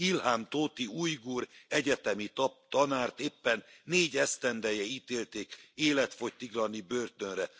Ilham Tohti ujgur egyetemi tanárt éppen négy esztendeje ítélték életfogytiglani börtönre.